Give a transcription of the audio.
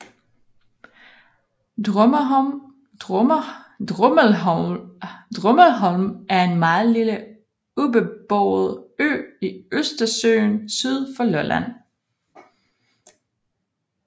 Drummelholm er en meget lille ubeboet ø i Østersøen syd for Lolland